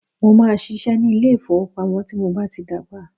Mó máà ṣiṣẹ́ ní ilé ìfọwọ́pamo tí mo bá tí dàgbà.